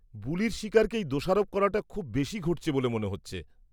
-বুলির শিকারকেই দোষারোপ করাটা খুব বেশি ঘটছে বলে মনে হচ্ছে।